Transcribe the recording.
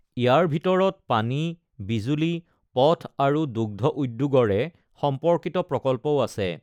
ইয়াৰ ভিতৰত পানী, বিজুলী, পথ আৰু দুগ্ধ উদ্যোগৰে সম্পৰ্কিত প্ৰকল্পও আছে।